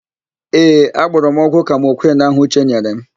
Ee, agbọrọ m ọgwụ kamokwịn ahụ Uche nyere m.